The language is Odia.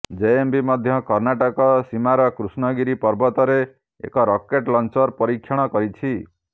ଜେଏମ୍ବି ମଧ୍ୟ କର୍ଣ୍ଣାଟକ ସୀମାର କ୍ରିଷ୍ଣାଗିରି ପର୍ବତରେ ଏକ ରକେଟ୍ ଲଞ୍ଚର ପରୀକ୍ଷଣ କରିଛି